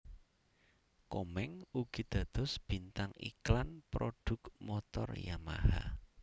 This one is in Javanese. Komeng ugi dados bintang iklan prodhuk motor Yamaha